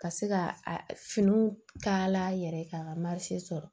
Ka se ka a finiw kala yɛrɛ k'a ka sɔrɔ